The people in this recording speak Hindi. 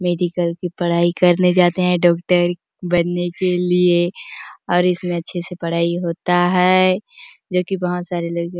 मेडिकल की पढाई करने जाते हैं डॉक्टर बनने के लिए और इसमें अच्छे से पढ़ाई होता है जो की बहुत सारे लड़के --